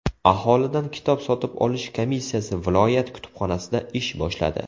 Aholidan kitob sotib olish komissiyasi viloyat kutubxonasida ish boshladi.